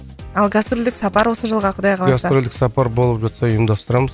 ал гастролдік сапар осы жылға кұдай қаласа гастролдік сапар болып жатса ұйымдастырамыз